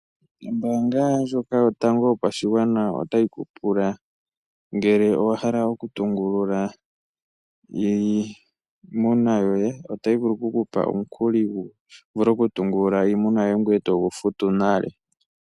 Ombaanga ndjoka yotango yopashigwana otayi tu pula ngele owa hala okutungulula iimuna yoye, otayi vulu oku ku pa omukuli wu vule okutungulula iimuna yoye ngoye to gu futu nale.